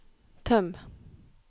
tøm